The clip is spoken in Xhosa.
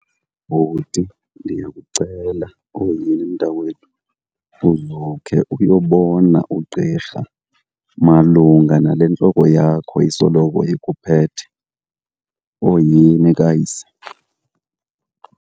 Bhuti, ndiyakucela. Oyhini mntakwenu uzukhe uyobona ugqirha malunga nale ntloko yakho isoloko ikuphethe, oyhini kayise.